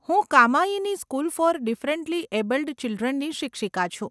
હું Kamayani school for differently abled ચિલ્ડ્રનની શિક્ષિકા છું.